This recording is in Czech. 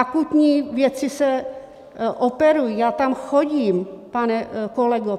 Akutní věci se operují, já tam chodím, pane kolego.